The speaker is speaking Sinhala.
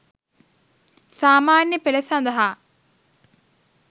සාමාන්‍ය පෙළ සඳහා